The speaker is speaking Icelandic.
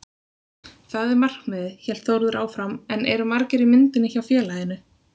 Það er markmiðið, hélt Þórður áfram en eru margir í myndinni hjá félaginu?